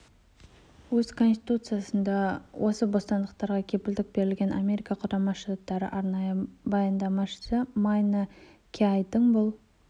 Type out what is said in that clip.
өз конституциясында да осы бостандықтарға кепілдік берілген америка құрама штаттары арнайы баяндамашысы майна киайдың бұл